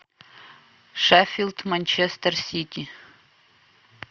шеффилд манчестер сити